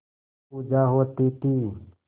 पूजा होती थी